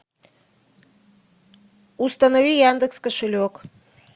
установи яндекс кошелек